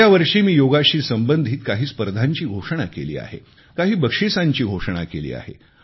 गेल्यावर्षी मी योगाशी संबंधित काही स्पर्धांची घोषणा केली आहे काही बक्षिसांची घोषणा केली आहे